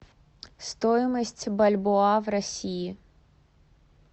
стоимость бальбоа в россии